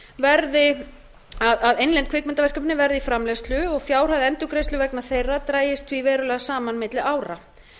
verði í framleiðslu og fjárhæð endurgreiðslu vegna þeirra dragist því verulega saman milli ára